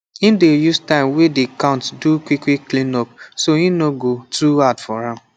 him dey use time wey dey count do quick quick clean up so e no go too hard for am